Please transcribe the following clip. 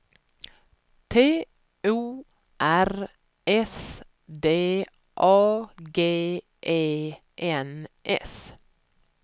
T O R S D A G E N S